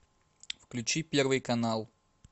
включи первый канал